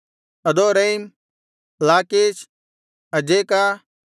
ಅದೋರೈಮ್ ಲಾಕೀಷ್ ಅಜೇಕ